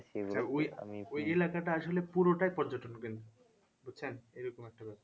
ওই এলাকাটা আসলে পুরোটাই পর্যটক বুঝছেন এরকম একটা ব্যাপার